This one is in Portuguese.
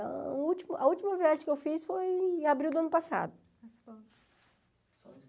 A última a última viagem que eu fiz foi em abril do ano passado.